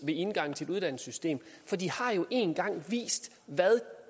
ved indgangen til et uddannelsessystem for de har jo en gang vist hvad